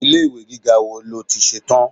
Ilé ìwé gíga wo ni ó ti ṣe tán?